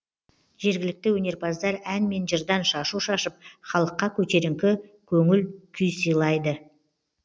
жергілікті өнерпаздар ән мен жырдан шашу шашып халыққа көтеріңкі көңіл күй сыйласа